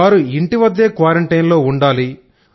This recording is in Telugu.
వారు ఇంటివద్దే క్వారంటైన్ లో ఉండాలి